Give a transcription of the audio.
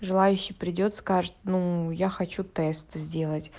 желающий придёт скажет ну я хочу тест сделать